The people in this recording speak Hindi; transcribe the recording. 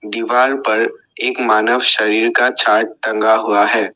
दीवार पर एक मानव शरीर का टंगा हुआ है।